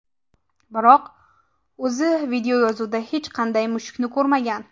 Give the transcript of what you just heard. Biroq o‘zi videoyozuvda hech qanday mushukni ko‘rmagan.